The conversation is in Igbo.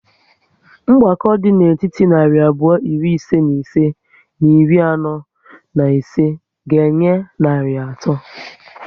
Mgbakọ dị n'etiti narị abụọ iri ise na ise na iri anọ na ise ga enye narị atọ